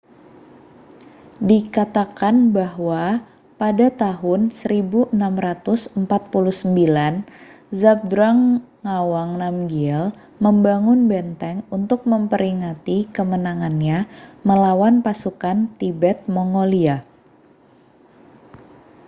dikatakan bahwa pada tahun 1649 zhabdrung ngawang namgyel membangun benteng untuk memperingati kemenangannya melawan pasukan tibet-mongolia